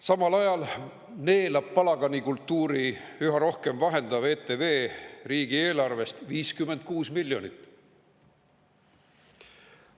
Samal ajal neelab üha rohkem palaganikultuuri vahendav ETV riigieelarvest 56 miljonit.